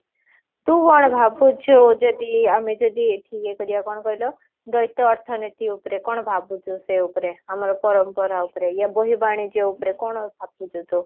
ତୁ କଣ ଭାବୁଛୁ ଯଦି ଆମେ ଯଦି ଏଠି ଇଏ କରିବା କଣ କହିଲ ଦଳିତ ଅର୍ଥନୀତି ଉପରେ କଣ ଭାବୁଛୁ ସେ ଉପରେ ଆମର ପରମ୍ପରା ଉପରେ ଏ ବର୍ହି ବାଣିଜ୍ୟ ଉପରେ କଣ ଭାବୁଛୁ ତୁ?